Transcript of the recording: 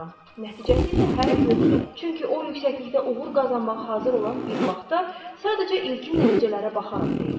Nəticəsi isə hələ yoxdur, çünki o yüksəklikdə uğur qazanmağa hazır olan bir vaxtda, sadəcə ilkin nəticələrə baxaraq deyir.